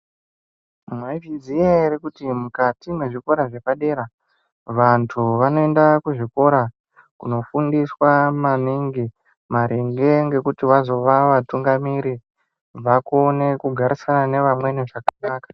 Mwaizviziya ere kuti mukati me zvikora zvepa dera vantu vanoenda ku zvikora kuno fundiswa maningi maringe ngekuti vazova vatungamiri vakone ku garisana ne amweni zvakanaka.